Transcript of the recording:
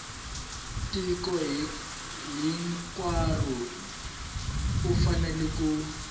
tiko hinkwaro u fanele ku